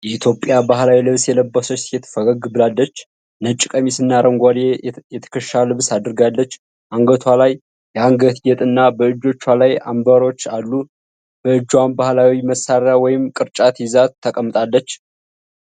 የኢትዮጵያ ባህላዊ ልብስ የለበሰች ሴት ፈገግ ብላለች። ነጭ ቀሚስና አረንጓዴ የትከሻ ልብስ አድርጋለች። አንገቷ ላይ የአንገት ጌጥና በእጆቿ ላይ አምባሮች አሉ። በእጇም ባህላዊ መሣሪያ ወይም ቅርጫት ይዛ ተቀምጣለች።